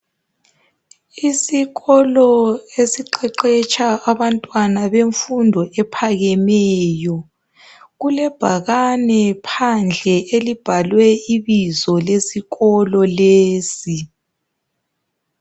Isikolo esiqeqetsha abantwana bemfundo ephakemeyo. Kulebhakane phandle elilbhalwe ibizo lesikolo llesi.